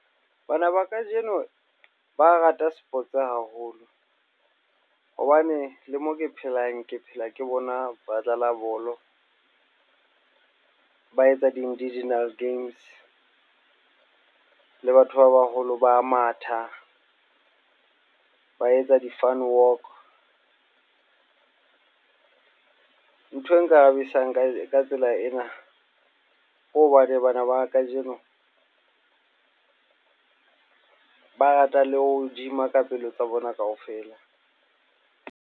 Bana ba kajeno ba rata sports haholo hobane le mo ke phelang ke phela ke bona ba dlala bolo, ba etsa di-indigenous games le batho ba baholo ba matha, ba etsa di-fun walk, nthwe nkarabisang ka tsela ena ke hobane bana ba kajeno ba rata le ho gym-a ka pelo tsa bona kaofela.